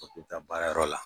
A taa baarayɔrɔ la.